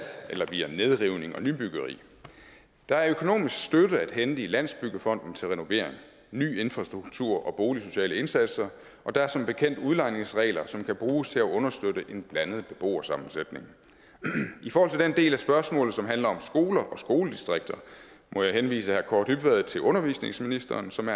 eller via nedrivning og nybyggeri der er økonomisk støtte at hente i landsbyggefonden til renovering ny infrastruktur og boligsociale indsatser og der er som bekendt udlejningsregler som kan bruges til at understøtte en blandet beboersammensætning i forhold til den del af spørgsmålet som handler om skoler og skoledistrikter må jeg henvise herre kaare dybvad til undervisningsministeren som